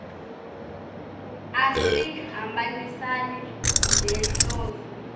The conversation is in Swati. asihambisani nenhloso